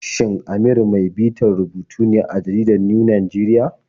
Shin Amir mai bitar rubutu ne a jaridar New Nigerian?